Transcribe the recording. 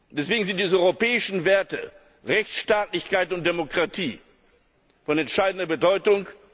Deswegen sind die europäischen Werte Rechtsstaatlichkeit und Demokratie von entscheidender Bedeutung.